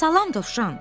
Salam, Dovşan.